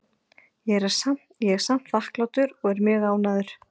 Ég er samt þakklátur og er mjög ánægður.